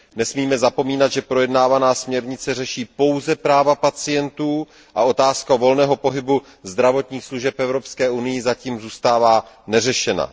Nesmíme zapomínat, že projednávaná směrnice řeší pouze práva pacientů a otázka volného pohybu zdravotních služeb v Evropské unii zatím zůstává neřešena.